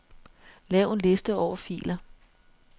Lav en liste over filer.